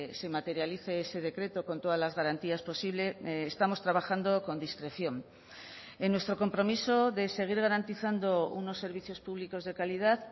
se materialice ese decreto con todas las garantías posible estamos trabajando con discreción en nuestro compromiso de seguir garantizando unos servicios públicos de calidad